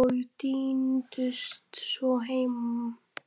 og tíndust svo heim.